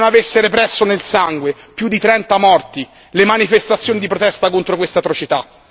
Se non avesse represso nel sangue, più di 30 morti, le manifestazioni di protesta contro queste atrocità.